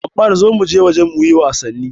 Ammar zo muje waje muyi wasanni!